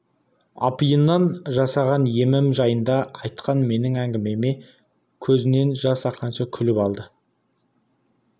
апиыннан жасаған емім жайында айтқан менің әңгімеме көзінен жас аққанша күліп алды